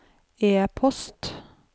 e-post